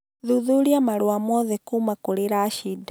Thuthuria marũa mothe kuuma kũrĩ Rashid